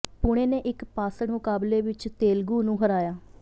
ਪੁਣੇ ਨੇ ਇਕ ਪਾਸੜ ਮੁਕਾਬਲੇ ਵਿਚ ਤੇਲਗੂ ਨੂੰ ਹਰਾਇਆ